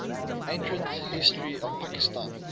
ancient history of pakistan